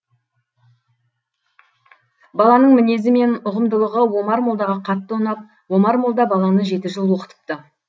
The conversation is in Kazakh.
баланың мінезі мен ұғымдылығы омар молдаға қатты ұнап омар молда баланы жеті жыл оқытыпты